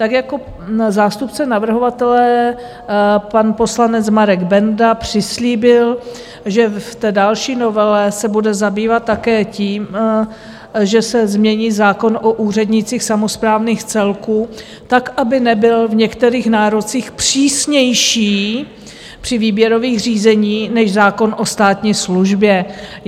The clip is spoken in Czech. Tak jako zástupce navrhovatele, pan poslanec Marek Benda, přislíbil, že v té další novele se bude zabývat také tím, že se změní zákon o úřednících samosprávných celků tak, aby nebyl v některých nárocích přísnější při výběrových řízení než zákon o státní službě.